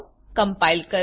compile કરો